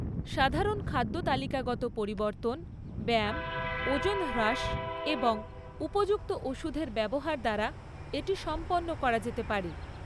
সাধারণত খাদ্যতালিকাগত পরিবর্তন, ব্যায়াম, ওজন হ্রাস এবং উপযুক্ত ওষুধের ব্যবহার দ্বারা এটি সম্পন্ন করা যেতে পারে।